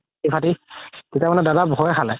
তেতিয়া মানে দাদা ভই খালে